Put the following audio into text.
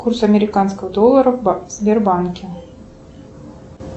курс американского доллара в сбербанке